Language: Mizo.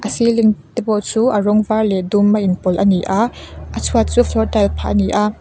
ceiling te pawh chu a rawng var leh dum a in pawlh a ni a a chhuat chu floor tile phah a ni a.